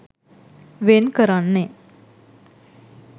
වෙන් කරන්නේ